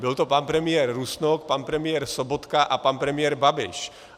Byl to pan premiér Rusnok, pan premiér Sobotka a pan premiér Babiš.